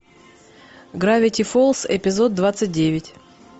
гравити фолз эпизод двадцать девять